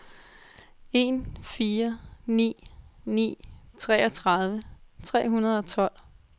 en fire ni ni treogtredive tre hundrede og tolv